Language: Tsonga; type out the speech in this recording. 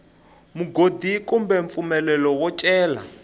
mugodi kumbe mpfumelelo wo cela